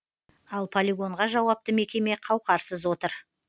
ал полигонға жауапты мекеме қауқарсыз отыр